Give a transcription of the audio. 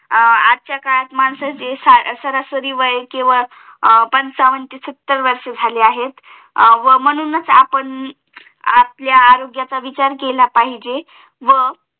आजच्या काळात माणसांचे सरासरी वय केवळ अं पंचावन्न ते सत्तर वर्ष झाले आहे हम्म म्हणूनच आपण आपल्या अह आरोग्याचं अविचार केला पाहिजे व